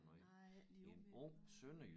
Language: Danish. Nej ikke lige umiddelbart